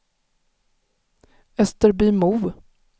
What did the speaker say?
Österbymo